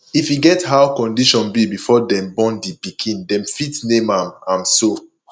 if e get how condition be before dem born di pikin dem fit name am am so